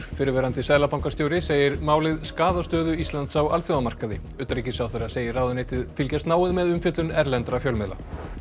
fyrrverandi seðlabankastjóri segir málið skaða stöðu Íslands á alþjóðamarkaði utanríkisráðherra segir ráðuneytið fylgjast náið með umfjöllun erlendra fjölmiðla